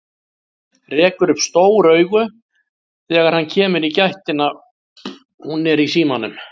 Rekur upp stór augu þegar hann kemur í gættina, hún er í símanum.